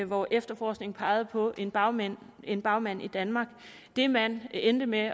hvor efterforskningen pegede på en bagmand en bagmand i danmark det man endte med at